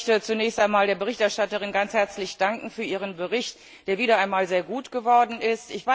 Auch ich möchte zunächst einmal der Berichterstatterin ganz herzlich danken für ihren Bericht, der wieder einmal sehr gut geworden ist.